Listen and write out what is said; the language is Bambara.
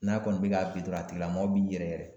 N'a kɔni be k'a dɔrɔn a tigilamɔgɔ b'i yɛrɛ yɛrɛ